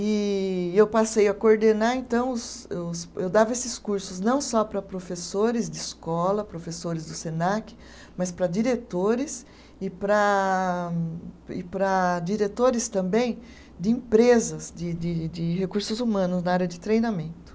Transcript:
E eu passei a coordenar, então os os, eu dava esses cursos não só para professores de escola, professores do Senac, mas para diretores e para e para diretores também de empresas de de de recursos humanos na área de treinamento.